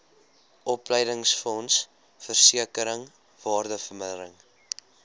opleidingsfonds versekering waardevermindering